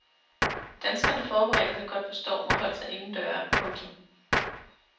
Danskerne forberedte sig godt på stormen og holdt sig inden døre. punktum